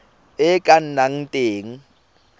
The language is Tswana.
e e ka nnang teng